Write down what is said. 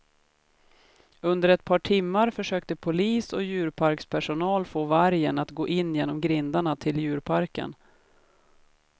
Under ett par timmar försökte polis och djurparkspersonal få vargen att gå in genom grindarna till djurparken.